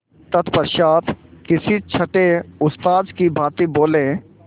तत्पश्चात किसी छंटे उस्ताद की भांति बोले